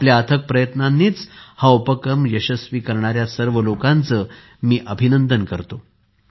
आपल्या अथक प्रयत्नांनी हा उपक्रम यशस्वी करणाऱ्या सर्व लोकांचे मी अभिनंदन करतो